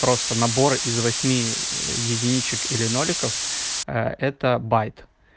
просто набор из восьми единичек или ноликов это байт